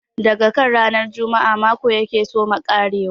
Daga kan ranar Juma'a mako ya ke soma ƙarewa.